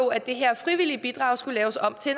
at det her frivillige bidrag skulle laves om til